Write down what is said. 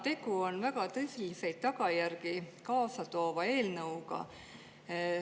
Tegu on väga tõsiseid tagajärgi kaasa toova eelnõuga.